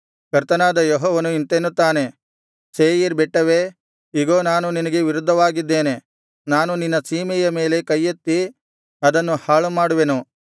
ಕರ್ತನಾದ ಯೆಹೋವನು ಇಂತೆನ್ನುತ್ತಾನೆ ಸೇಯೀರ್ ಬೆಟ್ಟವೇ ಇಗೋ ನಾನು ನಿನಗೆ ವಿರುದ್ಧವಾಗಿದ್ದೇನೆ ನಾನು ನಿನ್ನ ಸೀಮೆಯ ಮೇಲೆ ಕೈಯೆತ್ತಿ ಅದನ್ನು ಹಾಳು ಮಾಡುವೆನು